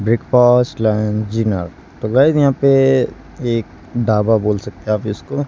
Breakfast lunch dinner तो guys यहां पे एक ढाबा बोल सकते हैं इसको।